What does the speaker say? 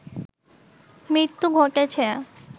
মৃত্যু ঘটেছে